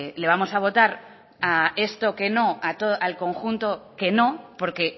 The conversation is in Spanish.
le vamos a votar a esto que no al conjunto que no porque